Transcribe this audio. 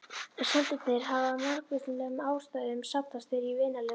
Steindirnar hafa af margvíslegum ástæðum safnast fyrir í vinnanlegu magni.